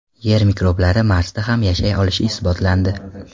Yer mikroblari Marsda ham yashay olishi isbotlandi.